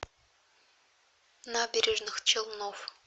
набережных челнов